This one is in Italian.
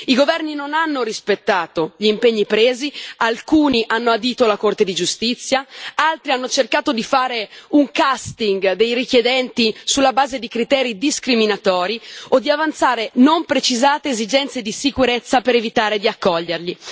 I governi non hanno rispettato gli impegni presi, alcuni hanno adito la Corte di giustizia, altri hanno cercato di fare un casting dei richiedenti sulla base di criteri discriminatori o di avanzare non precisate esigenze di sicurezza per evitare di accoglierli.